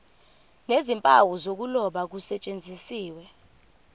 nezimpawu zokuloba kusetshenziswe